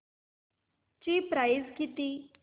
ची प्राइस किती